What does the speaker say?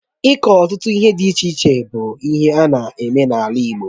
Iku ọtụtụ ihe dị iche iche bụ ihe ana-eme n'ala Igbo